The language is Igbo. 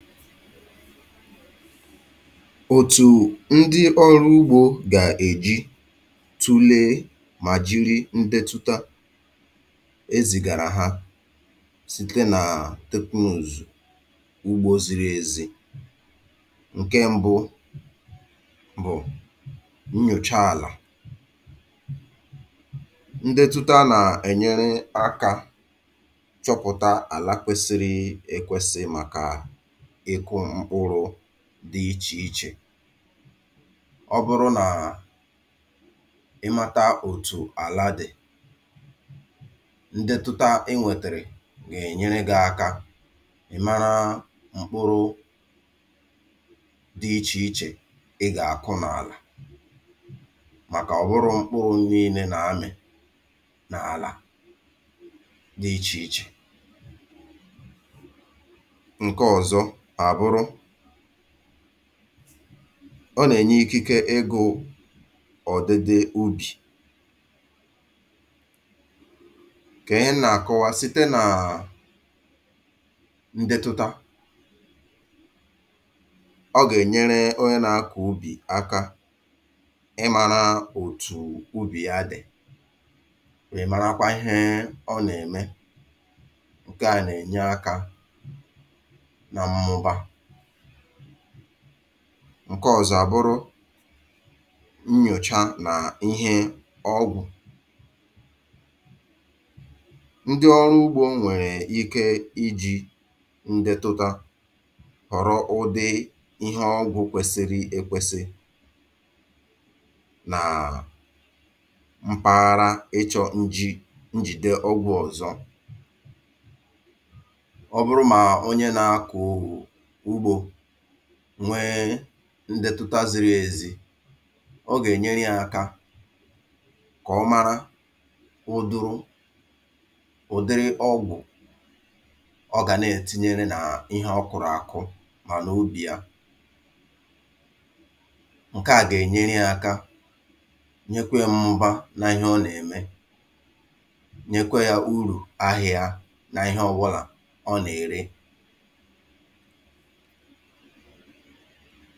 Otù ndị ọrụ ugbȯ gà-èji tụle mà jìri ndetụta e zìgàrà ha site nà teknụzụ ugbȯ ziri èzi. Nke ṁbụ bụ̀ nnyòcha àlà. Ndetụta na-enyere aka chọpụta ala keasịrị ekwesị maka ịkụ mkpụrụ dị ichè ichè. Ọ bụrụ nà ị mata òtù àla dị, ndetụta inwètèrè gà-ènyere gị aka ị mara mkpụrụ dị ichè ichè ị gà-akụ nà àlà màkà ọ bụrụ mkpụrụ niile n’amị n’àlà dị ichè ichè. Nke ọzọ abụrụ, ọ nà-ènye ikike egȯ̇ ọ̀dịdị ubì ke ihe m nà-àkọwa site nàà ndetụtȧ, ọ gà-ènyere onye nà-akọ̀ ubì aka ịmȧrȧ òtù ubì ya dị̀, ịmara kwa ihė ọ nà-ème, ǹke à nà-ènye akȧ na mmụba. Nke ọ̀zọ àbụrụ nnyòcha nà ihe ọgwụ̀. Ndị ọrụ ugbo nwèrè ike iji ndetụta họ̀rọ ụdị ihe ọgwụ̇ kwèsịrị ekwėsị nà mpaghara ịchọ̇ njì njìde ọgwụ̇ ọ̀zọ. Ọ bụrụ mà onye na-akụ̀ ugbo nwee ndetụta ziri ezì, ọ gà-ènyere ya aka kà ọ mara ụdụrụ ụ̀dịrị ọgwụ̀ ọ gà na-ètinyere na ihe ọ kụ̀rụ̀ àkụ mà nà ubì ya, nke à gà-ènyere ya aka, nyekwe ya mmụba na ihe ọ na-eme, nyekwe ya urù ahị̀a na ihe ọbụlà ọ nà ère.